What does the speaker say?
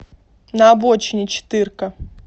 на обочине четырка